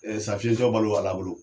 Ɛɛ sa fiyetɔ balo be ala bolo